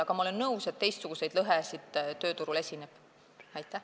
Aga ma olen nõus, et tööturul on ka teistsuguseid lõhesid.